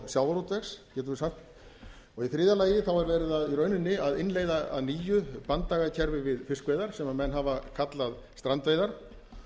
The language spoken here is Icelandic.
sjávarútvegs getum við sagt í þriðja lagi er verið í rauninni að innleiða að nýju banndagakerfi við fiskveiðar sem menn hafa kallað strandveiðar og